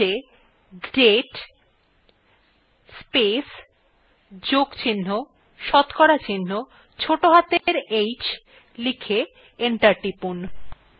prompt এ date place plus শতকরা চিহ্ন ছোটো হাতের অক্ষরে h লিখে enter টিপুন